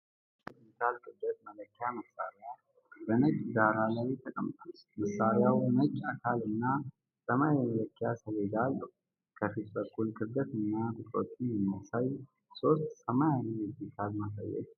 አንድ ዘመናዊ የዲጂታል ክብደት መለኪያ መሳሪያ በነጭ ዳራ ላይ ተቀምጧል። መሳሪያው ነጭ አካልና ሰማያዊ የመለኪያ ሰሌዳ አለው። ከፊት በኩል ክብደትን እና ቁጥሮችን የሚያሳዩ ሶስት ሰማያዊ የዲጂታል ማሳያዎች ይገኛሉ።